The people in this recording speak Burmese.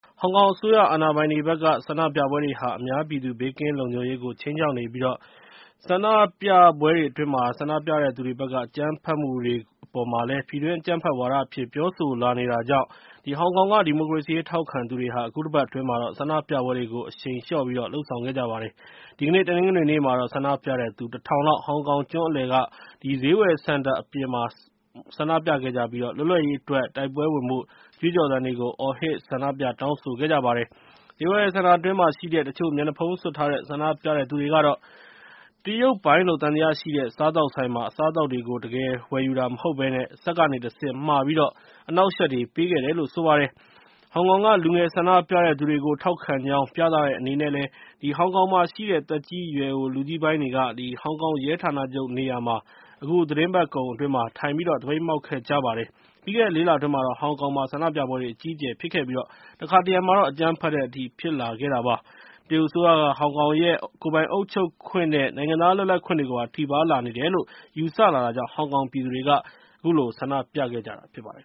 ဟောင်ကောင်အစိုးရ အာဏာပိုင်တွေက ဆန္ဒပြပွဲတွေဟာ အများပြည်သူ ဘေးကင်းလုံခြုံရေးကို ခြိမ်းခြောက်နေပြီး ဆန္ဒပြသူတွေဘက်က အကြမ်းဖက်မှုတွေကို ပြည်တွင်း အကြမ်းဖက်ဝါဒအဖြစ် ပြောဆိုလာနေတာကြောင့် ဟောင်ကောင်က ဒီမိုကရေစီရေး ထောက်ခံသူတွေဟာ အခုတပတ်အတွင်းမှာ ဆန္ဒပြပွဲတွေကို အရှိန်လျှော့ပြီးတော့ လုပ်ဆောင်ခဲ့ပါတယ်။ ဒီကနေ့ တနင်္ဂနွေနေ့မှာတော့ ဆန္ဒပြတဲ့သူ ၁ ထောင်လောက် ဟောင်ကောင်ကျွန်းအလယ်က ဈေးဝယ်စင်တာအပြင်မှာ ဆန္ဒပြခဲ့ကြပြီး လွတ်လပ်ရေးအတွက် တိုက်ပွဲဝင်ဖို့ ကြွေးကြော်သံတွေကို အော်ဟစ် ဆန္ဒပြခဲ့ကြပါတယ်။ ဈေးဝယ်စင်တာအတွင်းမှာရှိတဲ့ တချို့ မျက်နှာဖုံးစွပ်ထားတဲ့ ဆန္ဒပြတဲ့သူတွေကတော့ တရုတ်ပိုင်လို့ သံသယရှိတဲ့ စားသောက်ဆိုင်မှာ အစားအသောက်တွေကို တကယ်ဝယ်တာမဟုတ်ဘဲ စက်ကနေတဆင့် မှာပြီး အနှောင့်အယှက်တွေ ပေးခဲ့ပါတယ်။ ဟောင်ကောင်က လူငယ်ဆန္ဒပြတဲ့သူတွေကို ထောက်ခံကြောင်း ပြသတဲ့အနေနဲ့ ဟောင်ကောင်မှာရှိတဲ့ သက်ကြီးရွယ်အို လူကြီးပိုင်းတွေကလည်း ဟောင်ကောင်ရဲဌာနချုပ်နေရာမှာ အခုသီတင်းပတ်ကုန်အတွင်း ထိုင်သပိတ်မှောက်ခဲ့ကြပါတယ်။ ပြီးခဲ့တဲ့ ၄ လအတွင်းမှာတော့ ဟောင်ကောင်မှာ ဆန္ဒပြပွဲတွေ အကြီးအကျယ်ဖြစ်ခဲ့ပြီး တခါတရံမှာ အကြမ်းဖက်တဲ့အထိပါ ဖြစ်ခဲ့တာပါ။ တရုတ်အစိုးရက ဟောင်ကောင်ရဲ့ ကိုယ်ပိုင်အုပ်ချုပ်ခွင့်နဲ့ နိုင်ငံသားလွတ်လပ်ခွင့်တွေကိုပါ ထိပါးလာနေတယ်လို့ ယူဆလာတာကြောင့် ဟောင်ကောင်ပြည်သူတွေက ဆန္ဒပြခဲ့ကြတာ ဖြစ်ပါတယ်